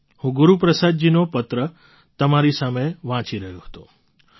હા હું ગુરુપ્રસાદજીનો પત્ર તમારી સામે વાંચી રહ્યો હતો